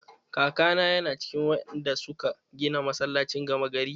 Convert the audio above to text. Kakana yana cikin wanda suka gina masallacin gama gari.